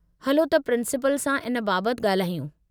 हलो त प्रिंसिपल सां इन बाबत ॻाल्हायूं।